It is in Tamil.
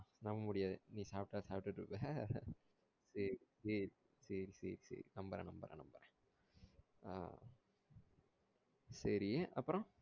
நம்ம முடியாது நீ சாப்டாலும் சாப்டுட்டு இருப்ப சேரி சேரி சேரி சேரி சேரி நம்புறேன் நம்புறேன் நம்புறேன் ஆஹ் சேரி அப்றோ